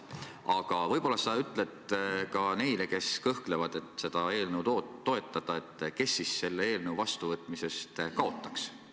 Aga võib-olla sa ütled ka neile, kes kõhklevad, kas seda eelnõu toetada, et kes selle eelnõu vastuvõtmisest kaotaks.